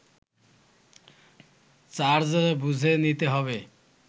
charge বুঝে নিতে হবে